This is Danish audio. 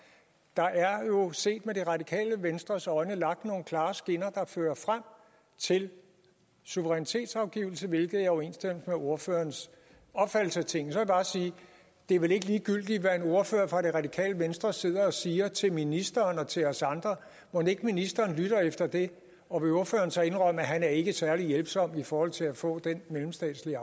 der er jo set med det radikale venstres øjne lagt nogle klare skinner der fører frem til suverænitetsafgivelse hvilket er i overensstemmelse med ordførerens opfattelse af tingene så vil jeg bare sige det er vel ikke ligegyldigt hvad en ordfører fra det radikale venstre sidder og siger til ministeren og til os andre mon ikke ministeren lytter efter det og vil ordføreren så indrømme at han ikke er særlig hjælpsom i forhold til at få den mellemstatslige